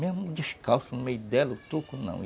Mesmo descalço, no meio dela, o toco não.